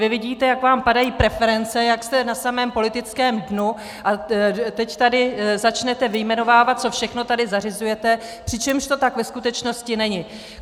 Vy vidíte, jak vám padají preference, jak jste na samém politickém dnu, a teď tady začnete vyjmenovávat, co všechno tady zařizujete, přičemž to tak ve skutečnosti není.